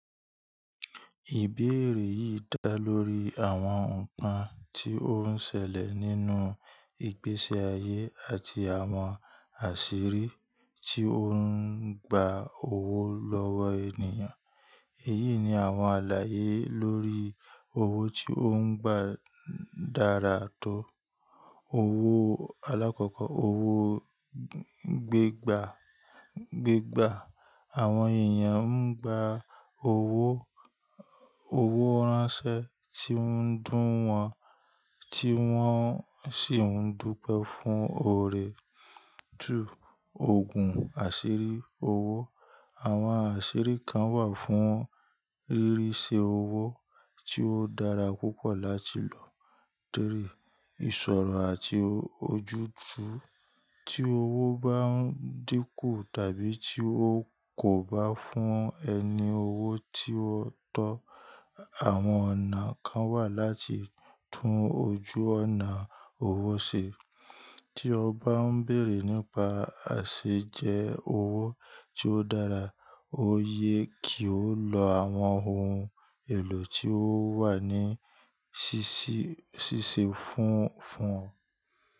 Ìbéèrè yìí dá lórí àwọn nǹkan tí ó ń ṣẹlẹ̀ nínú ìgbési ayé àti àwọn àṣírí tí ó ń gba owó lọ́wọ́ ènìyàn. Èyí ni àwọn àlàyé lórí owó tí ó ń gba dára tó. Owó alákọ̀kọ́, owó gbigba, awon eeyan n gba owo ranse ti won n du won, ti won si n dupẹ fun oore. 2, oogun asiri owo. Àwọn àṣírí kan wà fún rírí iṣe owó tí ó dára púpọ̀ láti lò. Torí, ìṣòro àti ojúju tí owó bá ń dínkù tàbí tí ó kò bá fún ẹni owó tí wọ́n tọ́. Àwọn ọ̀nà kan wà láti tún ojú ọ̀nà owó ṣe. Tí o bá ń bèrè nípa àṣejẹ owó tí ó dára, ó yẹ kí o lo àwọn ohun èlò tí ó wà ní ṣíṣí fún fún ọ.